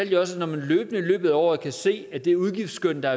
jeg også at når man løbende i løbet af året kan se at det udgiftsskøn der